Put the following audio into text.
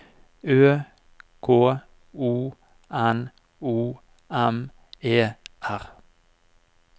Ø K O N O M E R